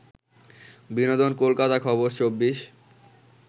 বিনোদন কলকাতা খবর ২৪